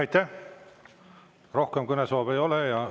Aitäh, rohkem kõnesoove ei ole!